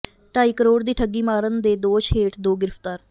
ਢਾਈ ਕਰੋੜ ਦੀ ਠੱਗੀ ਮਾਰਨ ਦੇ ਦੋਸ਼ ਹੇਠ ਦੋ ਗ੍ਰਿਫ਼ਤਾਰ